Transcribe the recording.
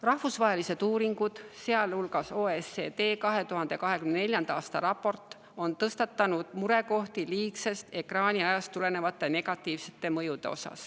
Rahvusvahelised uuringud, sealhulgas OECD 2024. aasta raport, on nimetanud murekohti, rääkides liigsest ekraaniajast tulenevatest negatiivsetest mõjudest.